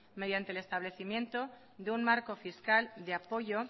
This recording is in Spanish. mediante el establecimiento de un marco fiscal de apoyo